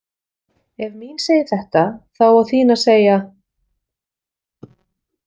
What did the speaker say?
„Ef mín segir þetta þá á þín að segja...“.